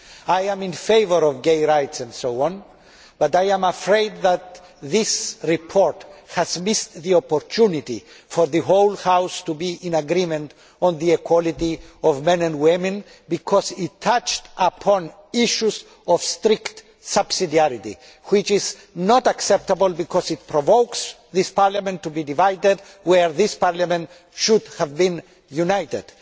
I am in favour of gay rights and so on, but I am afraid that this report has missed the opportunity for the whole House to be in agreement on the equality of men and women because it touched upon issues of strict subsidiarity, which is not acceptable because it provokes this Parliament to be divided where this Parliament should have been united.